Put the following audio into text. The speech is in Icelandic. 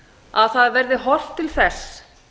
að það verði horft til þess